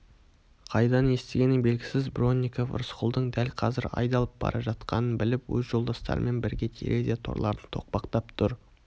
қайдан естігені белгісіз бронников рысқұлдың дәл қазір айдалып бара жатқанын біліп өз жолдастарымен бірге терезе торларын тоқпақтап тұр